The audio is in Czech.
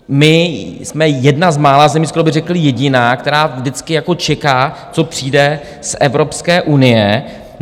My jsme jedna z mála zemí, skoro by řekl jediná, která vždycky čeká, co přijde z Evropské unie.